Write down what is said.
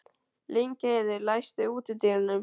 Lyngheiður, læstu útidyrunum.